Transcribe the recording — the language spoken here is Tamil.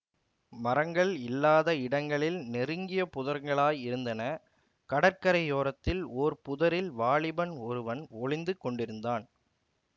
மரங்கள் இல்லாத இடங்களில் நெருங்கிய புதர்களாயிருந்தன கடற்கரையோரத்தில் ஓர் புதரில் வாலிபன் ஒருவன் ஒளிந்து கொண்டிருந்தான்